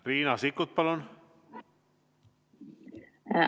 Riina Sikkut, palun!